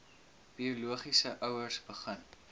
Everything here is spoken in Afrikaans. biologiese ouers begin